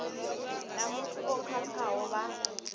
na muthu o khakhaho vha